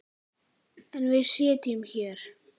En við sitjum hér